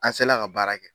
An se la ka baara kɛ